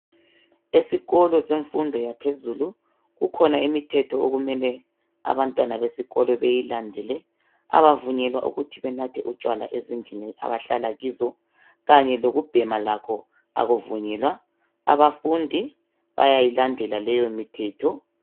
Esikolo semfundo yaphezulu kukhona imithetho okumele abantwana besikolo beyilandele abavunyelwa ukuthi benathe utshwala ezindlini abahlala kizo kanye lokubhema lakho abavunyelwa, abafundi bayayilandela leyo mithetho